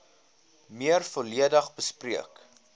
meer volledig bespreek